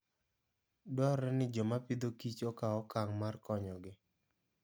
Dwarore ni joma Agriculture and Food okaw okang' mar konyogi.